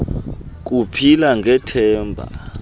ku phila ngethemba